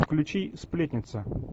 включи сплетница